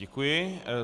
Děkuji.